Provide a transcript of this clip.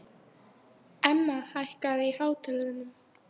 Emma, hækkaðu í hátalaranum.